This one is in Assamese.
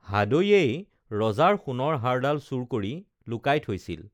হাদৈয়েই ৰজাৰ সোণৰ হাড়ডাল চুৰ কৰি লুকাই থৈছিল